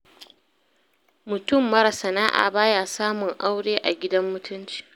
Mutum mara sana'a ba ya samun aure a gidan mutunci